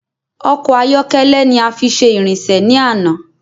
Ọkọ ayọkẹlẹ ní a fi ṣe ìrìnsè ni ana